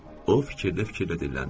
O fikirdə fikirdə dinləndi.